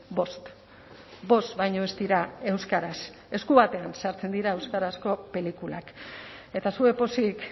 bost bost baino ez dira euskaraz esku batean sartzen dira euskarazko pelikulak eta zuek pozik